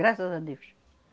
Graças a Deus.